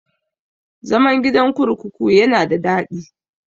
Zaman gidan kurkuku yana da daɗi.